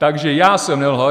Takže já jsem nelhal.